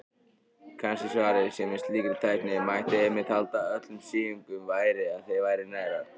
Kannski svarið sé að með slíkri tækni mætti einmitt halda öllum síungum.